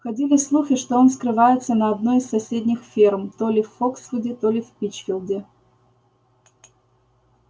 ходили слухи что он скрывается на одной из соседних ферм то ли в фоксвуде то ли в пинчфилде